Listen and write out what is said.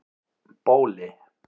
Bóli